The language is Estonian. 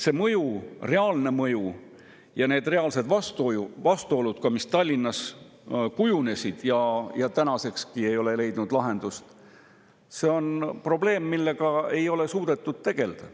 See mõju, reaalne mõju ja need reaalsed vastuolud, mis Tallinnas on kujunenud ja mis tänasekski ei ole leidnud lahendust, on probleem, millega ei ole suudetud tegelda.